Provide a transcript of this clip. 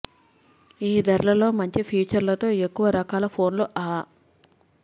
ఈ ధరల లో మంచి ఫీచర్ లతో ఎక్కువ రకాల ఫోన్లు అ